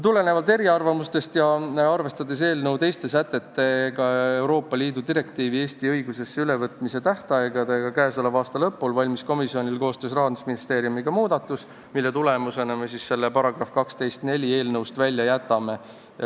Tulenevalt eriarvamustest ja arvestades eelnõu teiste sätetega ja ka Euroopa Liidu direktiivi Eesti õigusesse ülevõtmise tähtaegadega k.a lõpul valmis komisjonil koostöös Rahandusministeeriumiga muudatus, mille tulemusena me jätame selle § 12 lõike 4 eelnõust välja.